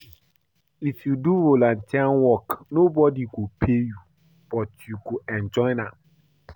If you do volunteer work nobodi go pay you but you go enjoy am.